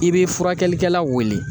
I bi furakɛlikɛla weele